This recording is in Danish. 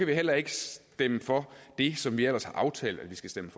vi heller ikke stemme for det som vi ellers har aftalt at vi skal stemme